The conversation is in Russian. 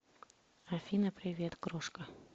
афина привет крошка